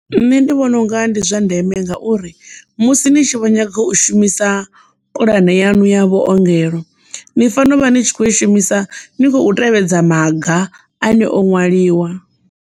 Nṋe ndi vhona unga ndi zwa ndeme ngauri musi ni tshi vho nyaga u shumisa pulane yanu ya vhuongelo ni fanela u vha ni tshi kho i shumisa ni khou tevhedza maga ane o ṅwaliwa.